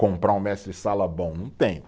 Comprar um mestre-sala bom, não tem.